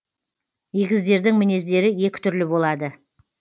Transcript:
егіздердің мінездері екі түрлі болады